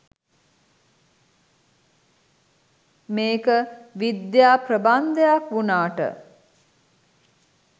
මේක විද්‍යා ප්‍රබන්ධයක් වුණාට